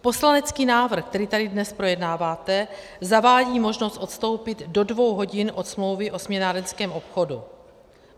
Poslanecký návrh, který tady dnes projednáváte, zavádí možnost odstoupit do dvou hodin od smlouvy o směnárenském obchodu.